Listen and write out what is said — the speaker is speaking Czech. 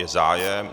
Je zájem?